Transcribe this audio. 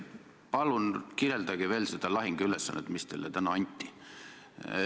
Palun kirjeldage veel seda lahinguülesannet, mis teile täna anti!